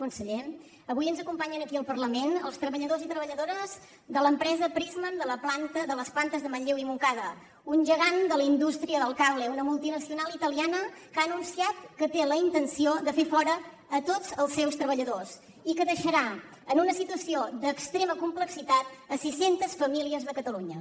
conseller avui ens acompanyen aquí al parlament els treballadors i treballadores de l’empresa prysmian de les plantes de manlleu i montcada un gegant de la indústria del cable una multinacional italiana que ha anunciat que té la intenció de fer fora a tots els seus treballadors i que deixarà en una situació d’extrema complexitat sis centes famílies de catalunya